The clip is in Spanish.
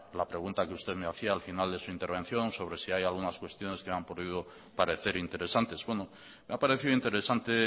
la pregunta que usted me hacía al final de su intervención sobre si hay algunas cuestiones que me han podido parecer interesantes bueno me ha parecido interesante